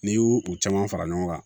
N'i y'u u caman fara ɲɔgɔn kan